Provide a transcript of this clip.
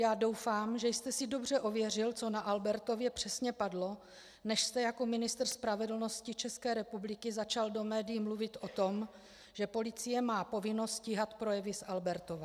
Já doufám, že jste si dobře ověřil, co na Albertově přesně padlo, než jste jako ministr spravedlnosti České republiky začal do médií mluvit o tom, že policie má povinnost stíhat projevy z Albertova.